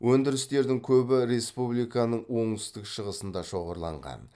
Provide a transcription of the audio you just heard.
өндірістердің көбі республиканың оңтүстік шығысында шоғырланған